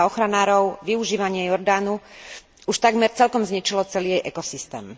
Podľa ochranárov využívanie Jordánu už takmer celkom zničilo celý jej ekosystém.